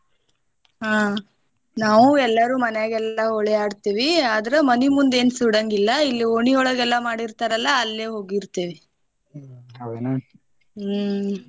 ಹಾ ನಾವು ಎಲ್ಲಾರು ಮನ್ಯಾಗೆಲ್ಲಾ ಹೋಳಿ ಆಡ್ತೇವಿ ಆದ್ರ ಮನಿ ಮುಂದ ಏನ ಸುಡಾಂಗಿಲ್ಲಾ ಇಲ್ಲಿ ಓಣಿಯೊಳಗ ಎಲ್ಲಾ ಮಾಡಿರ್ತಾರಲ್ಲಾ ಅಲ್ಲೇ ಹೋಗಿರ್ತೇವಿ ಹ್ಮ್‌.